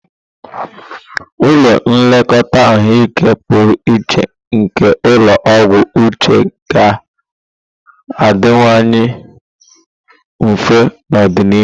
Ụlọ nlekọta ahụike pụrụ iche nke ulo ogwu uche ga-adịwanye mfe n'ọdịnihu.